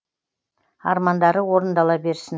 армандары орындала берсін